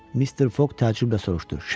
Mister Foq təəccüblə soruşdu: Şənbə?